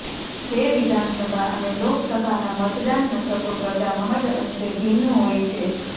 જે વિધાનસભા અને લોકસભાના મતદાન મથકો કરતાં મહદ્ અંશે ભિન્ન હોય છે